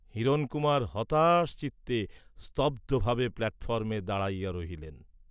হিরণকুমার হতাশচিত্তে স্তব্ধ ভাবে প্ল্যাটফর্মে দাঁড়াইয়া রহিলেন।